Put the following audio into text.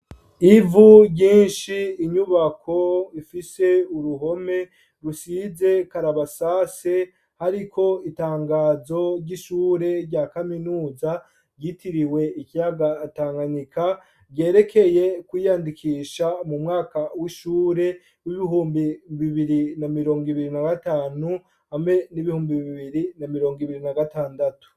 Ivu ryinshi, inyubako ifise uruhome rusize karabasase hariko itangazo ry'ishure rya kaminuza ryitiriwe ikiyaga Tanganyika, ryerekeye kwiyandikisha mu mwaka w'ishure w'ibihumbi bibiri na mirongo ibiri na gatanu hamwe n'ibihumbi bibiri na mirongo ibiri na gatandatu.